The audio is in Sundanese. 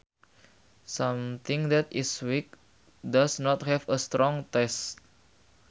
Something that is weak does not have a strong taste